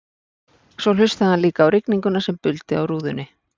Svo hlustaði hann líka á rigninguna sem buldi á rúðunni.